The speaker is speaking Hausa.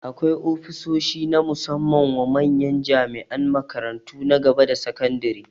Akwai ofishoshi na musamman wa manyan jami'an makarantu na gaba da sakandare